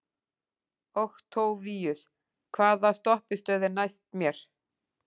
Októvíus, hvaða stoppistöð er næst mér?